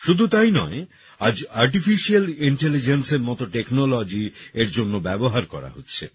শুধু তাই নয় আজ আর্টিফিশিয়াল Intelligenceএর মতো Technologyএর জন্য ব্যবহার করা হচ্ছে